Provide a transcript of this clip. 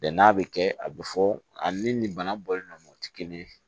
n'a bɛ kɛ a bɛ fɔ ani ni bana bɔlen don o tɛ kelen ye